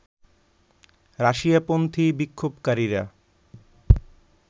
রাশিয়াপন্থী বিক্ষোভকারীরা